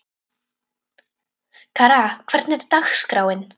Kara, hvernig er dagskráin?